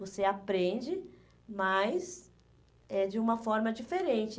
Você aprende, mas é de uma forma diferente.